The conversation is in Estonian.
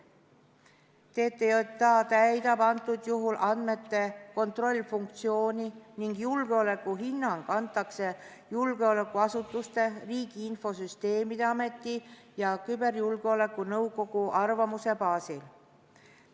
TTJA täidab antud juhul andmete kontrollimise funktsiooni ning julgeolekuhinnang antakse julgeolekuasutuste, Riigi Infosüsteemi Ameti ja küberjulgeoleku nõukogu arvamuse baasil.